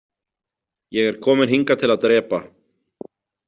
Ég er kominn hingað til að drepa.